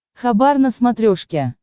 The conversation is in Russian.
хабар на смотрешке